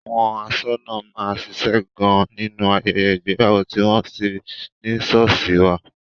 Àwọn aṣọ́nà máa ń ṣíṣe gan-an nínú ayẹyẹ ìgbéyàwó tí wọ́n bá ṣe ní sọ́ọ̀sì wá.